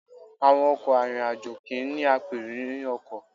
Àwọn ọkọ̀ arìnrìn-àjò kì í ní apèrò inú ọkọ̀.